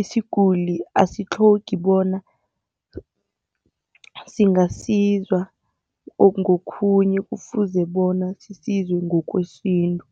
isiguli asitlhogi bona singasizwa ngokhunye, kufuze bona sisizwe ngokwesintu.